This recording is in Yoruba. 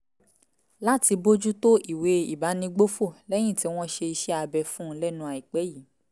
láti bójú tó ìwé ìbánigbófò lẹ́yìn tí wọ́n ṣe iṣẹ́ abẹ fún un lẹ́nu àìpẹ́ yìí